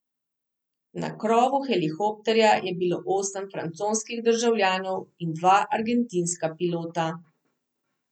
Na krovu helikopterja je bilo osem francoskih državljanov in dva argentinska pilota.